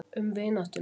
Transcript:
Um vináttuna.